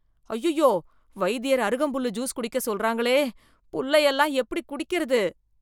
ஐயய்யோ, வைத்தியர் அருகம்புல்லு ஜூஸ் குடிக்க சொல்றாங்களே. புல்லையெல்லாம் எப்படிக் குடிக்கிறது